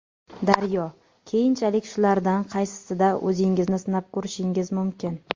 Daryo: Keyinchalik shulardan qaysisida o‘zingizni sinab ko‘rishingiz mumkin?